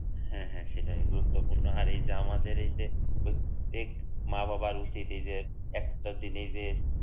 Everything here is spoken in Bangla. হ্যাঁ হ্যাঁ সেটাই গুরুত্বপূর্ণ আর যে আমাদের এই যে প্রত্যেক মা-বাবার উচিত একটা জিনিস যে